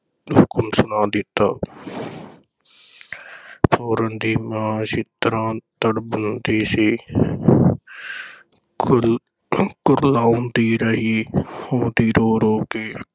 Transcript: ਹੁਕਮ ਸੁਣਾ ਦਿੱਤਾ ਪੂਰਨ ਦੀ ਮਾਂ ਇੱਛਰਾਂ ਤੜਪਦੀ ਸੀ ਕੁਰਲ~ ਕੁਰਲਾਉਂਦੀ ਰਹੀ ਉਹਦੀਆਂ ਰੋ-ਰੋ ਕੇ